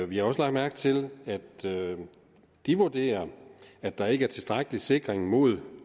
vi har også lagt mærke til at de vurderer at der ikke er tilstrækkelig sikring mod